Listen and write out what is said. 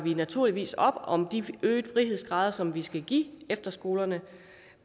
naturligvis op om de øgede frihedsgrader som vi skal give efterskolerne